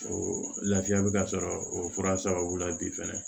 O lafiya bɛ ka sɔrɔ o fura sababu la bi fɛnɛ